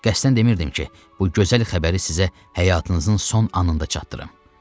Qəsdən demirdim ki, bu gözəl xəbəri sizə həyatınızın son anında çatdırım.